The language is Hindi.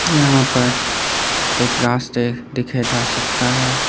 यहां पर एक रास्ते देखे जा सकता है।